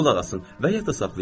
Qulaq asın və yada saxlayın.